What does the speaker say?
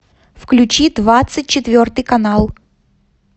включи двадцать четвертый канал